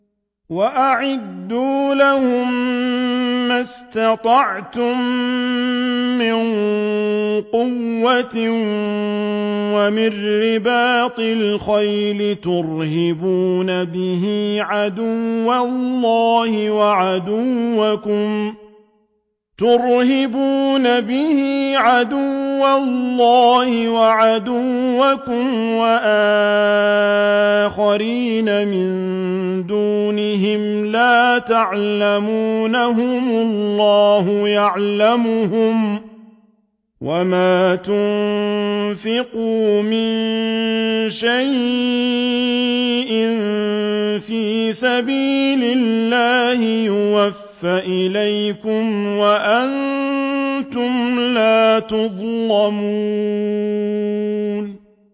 وَأَعِدُّوا لَهُم مَّا اسْتَطَعْتُم مِّن قُوَّةٍ وَمِن رِّبَاطِ الْخَيْلِ تُرْهِبُونَ بِهِ عَدُوَّ اللَّهِ وَعَدُوَّكُمْ وَآخَرِينَ مِن دُونِهِمْ لَا تَعْلَمُونَهُمُ اللَّهُ يَعْلَمُهُمْ ۚ وَمَا تُنفِقُوا مِن شَيْءٍ فِي سَبِيلِ اللَّهِ يُوَفَّ إِلَيْكُمْ وَأَنتُمْ لَا تُظْلَمُونَ